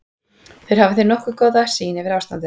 Þeir hafa því nokkuð góða sýn yfir ástandið.